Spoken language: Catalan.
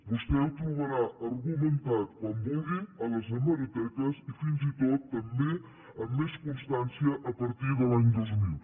vostè ho trobarà argumentat quan vulgui a les hemeroteques i fins i tot també amb més constància a partir de l’any dos mil